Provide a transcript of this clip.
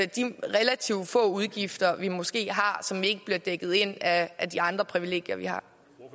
de relativt få udgifter vi måske har som ikke bliver dækket ind af de andre privilegier vi har